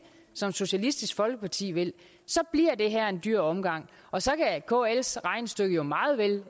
som socialistisk folkeparti vil så bliver det her en dyr omgang og så kan kls regnestykke jo meget vel